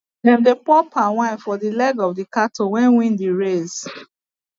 dem dey pour palm wine for the leg of the cattle wey win the race